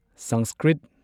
Sanskrit